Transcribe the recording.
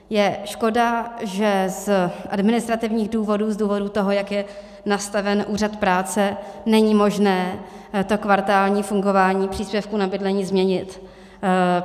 Je škoda, že z administrativních důvodů, z důvodu toho, jak je nastaven úřad práce, není možné to kvartální fungování příspěvků na bydlení změnit.